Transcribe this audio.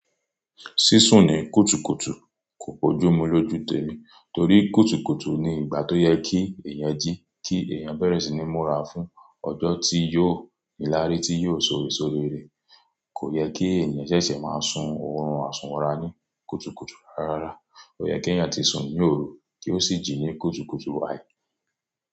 Sísùn ní kùtùkùtù kò bójú mú lójú tẹ́mi, torí kùtùkùtù ni ìgbà tó yẹ kí èèyàn jí kí èèyàn bẹ̀rẹ̀ sí ní múra fún ọjọ́ tí yóò níláari tí yóò só esó rére. Kò yẹ kí ènìyàn ṣẹ̀ṣẹ̀ máa sun oorun àsunwọ̀ra ní kùtùkùtù rárá. Ó yẹ kí ènìyàn tí sun ní òru kí ó sì jí ní kùtùkùtù wái.